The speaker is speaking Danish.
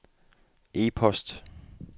e-post